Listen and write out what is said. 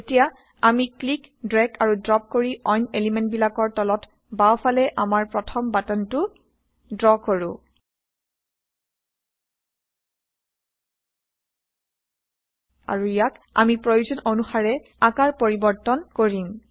এতিয়া আমি160 click drag আৰি ড্ৰপ কৰি অইন এলিমেন্টবিলাকৰ তলত বাওঁফালে আমাৰ প্ৰথম বাটনটো ড্ৰ কৰো আৰু ইয়াক আমি প্ৰয়োজন অনুসাৰে আকাৰ পৰিবৰ্তন160কৰিম